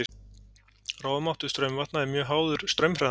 Rofmáttur straumvatna er mjög háður straumhraðanum.